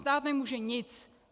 Stát nemůže nic.